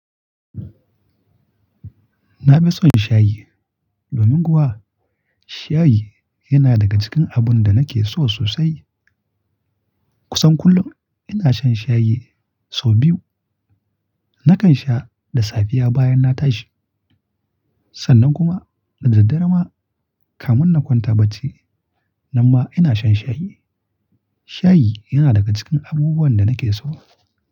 Na fi son shayi domin kuwa shayi yana daga cikin abun da nake so sosai. Kusan kullum ina shan shayi sau biyu. Nakan sha da safiya bayan na tashi, sannan kuma da daddare ma kamun na kwanta bacci, nan ma ina shan shayi. Shayi yana daga cikin abubuwan da nake so.